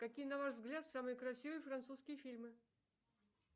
какие на ваш взгляд самые красивые французские фильмы